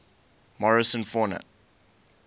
morrison fauna